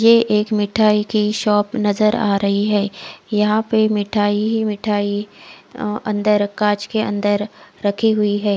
ये एक मिठाई की शॉप नज़र आ रही है यहाँ पे मिठाई ही मिठाई अ अन्दर काचके अन्दर रखी हुई है।